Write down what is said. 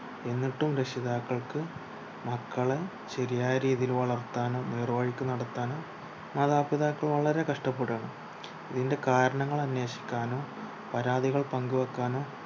എന്നിട്ടും രക്ഷിതാക്കൾക്ക് മക്കളെ ശരിയായ രീതിയിൽ വളർത്താനും നേർവഴിക്ക് നടത്താനും മാതാപിതാക്കൾ വളരെ കഷ്ടപെടു ആണ് ഇതിന്റെ കാരണമന്വേഷിക്കാനും പരാതികൾ പങ്കു വെയ്ക്കാനും